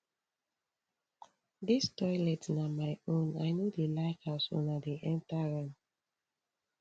dis toilet na my own i no dey like as una dey enta am